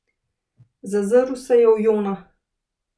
Zazrl se je v Jona.